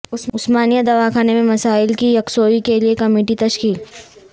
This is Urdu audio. عثمانیہ دواخانہ میں مسائل کی یکسوئی کے لیے کمیٹی تشکیل